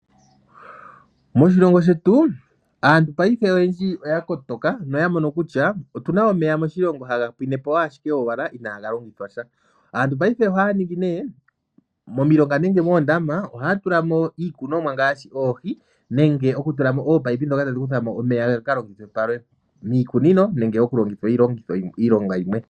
Moshilongo shetu aantu mongaashingeyi oya kotoka noya mono kutya otu na omeya moshilongo haga pwinepo ashike owala inaga longithwa sha. Aantu mongaashingeyi ohaya ningi ne momilonga nenge moondama ohaya tula mo iikunomwa ngaashi oohi nenge taya tulamo ominino ndhoka tadhi kuthamo omeya gaka longithwe palwe miikunino nenge miilonga yimwe.